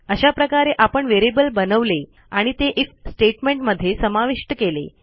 अशा प्रकारे आपण व्हेरिएबल बनवले आणि ते आयएफ स्टेटमेंट मध्ये समाविष्ट केले